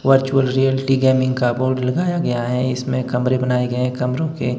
virtual reality gaming का board लगाया गया है इसमें कमरे बनाए गए हैं कमरों के--